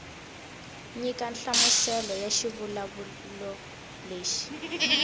nyika nhlamuselo ya xivulavulelo lexi